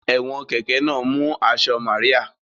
Ẹ̀wọ̀n kẹ̀kẹ́ náà mú aṣọ Màríà